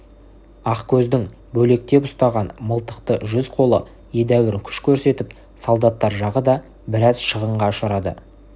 ақкөздің бөлектеп ұстаған мылтықты жүз қолы едәуір күш көрсетіп солдаттар жағы да біраз шығынға ұшырады